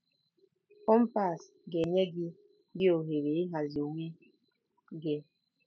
Kọmpas ga-enye gị gị ohere ịhazi onwe gị.